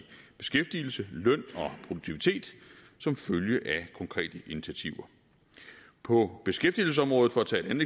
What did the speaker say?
beskæftigelse løn og produktivitet som følge af konkrete initiativer på beskæftigelsesområdet for at tage et